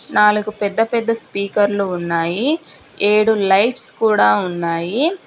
నాలుగు పెద్ద పెద్ద స్పీకర్ లు ఉన్నాయి ఏడు లైట్స్ కూడా ఉన్నాయి.